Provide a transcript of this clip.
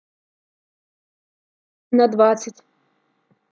на двадцать